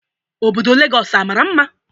Obodo Legọs amara mma?